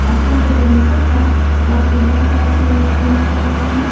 अ सिर पे जो मुकुट है वह सिल्वर कलर से पेंट किया हुआ है।